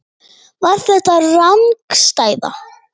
Var þetta rangstaða?